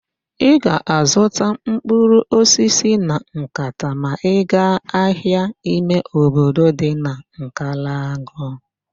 Ị ga-azụta mkpụrụ osisi na nkata ma ị gaa ahịa ime obodo dị na Nkalagụ